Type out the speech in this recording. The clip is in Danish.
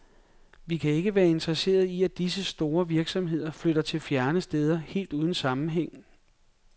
Vi kan ikke være interesseret i at disse store virksomheder flytter til fjerne steder helt uden sammenhæng.